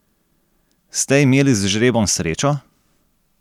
Ste imeli z žrebom srečo?